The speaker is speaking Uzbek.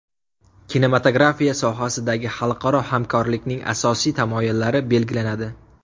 Kinematografiya sohasidagi xalqaro hamkorlikning asosiy tamoyillari belgilanadi.